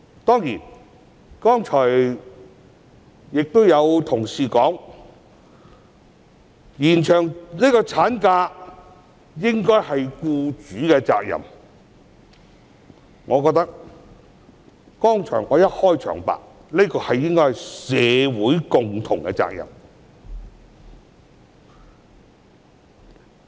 當然......剛才有同事提出，延長產假應該是僱主的責任，但我認為——正如我的開場白所說——這應是社會的共同責任。